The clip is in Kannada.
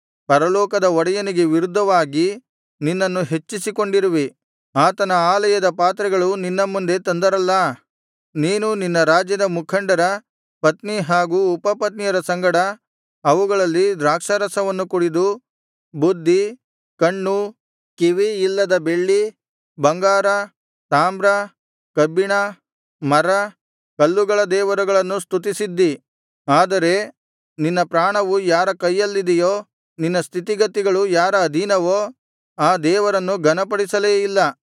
ಪರಲೋಕದ ಒಡೆಯನಿಗೆ ವಿರುದ್ಧವಾಗಿ ನಿನ್ನನ್ನು ಹೆಚ್ಚಿಸಿಕೊಂಡಿರುವಿ ಆತನ ಆಲಯದ ಪಾತ್ರೆಗಳನ್ನು ನಿನ್ನ ಮುಂದೆ ತಂದರಲ್ಲಾ ನೀನು ನಿನ್ನ ರಾಜ್ಯದ ಮುಖಂಡರ ಪತ್ನಿ ಹಾಗೂ ಉಪಪತ್ನಿಯರ ಸಂಗಡ ಅವುಗಳಲ್ಲಿ ದ್ರಾಕ್ಷಾರಸವನ್ನು ಕುಡಿದು ಬುದ್ಧಿ ಕಣ್ಣು ಕಿವಿ ಇಲ್ಲದ ಬೆಳ್ಳಿ ಬಂಗಾರ ತಾಮ್ರ ಕಬ್ಬಿಣ ಮರ ಕಲ್ಲುಗಳ ದೇವರುಗಳನ್ನು ಸ್ತುತಿಸಿದ್ದೀ ಆದರೆ ನಿನ್ನ ಪ್ರಾಣವು ಯಾರ ಕೈಯಲ್ಲಿದೆಯೋ ನಿನ್ನ ಸ್ಥಿತಿಗತಿಗಳು ಯಾರ ಅಧೀನವೋ ಆ ದೇವರನ್ನು ಘನಪಡಿಸಲೇ ಇಲ್ಲ